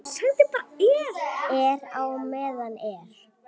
Er á meðan er.